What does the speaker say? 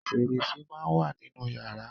Fẹ̀rẹsẹ́ máa ń wà nínú yàrá.